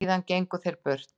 Síðan gengu þeir burt.